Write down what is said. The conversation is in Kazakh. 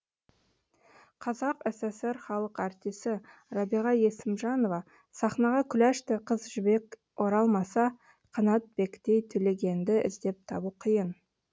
қазақ сср халық артисі рәбиға есімжанова сахнаға күләштай қыз жібек оралмаса қанабектей төлегенді іздеп табу қиын